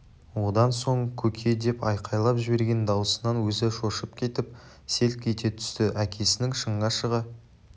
одан соң көке деп айқайлап жіберген дауысынан өзі шошып кетіп селк ете түсті әкесінің шыңға шыға